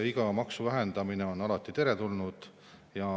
Iga maksuvähendamine on alati teretulnud.